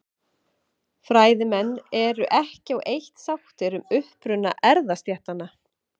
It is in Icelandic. Fræðimenn eru ekki á eitt sáttir um uppruna erfðastéttanna.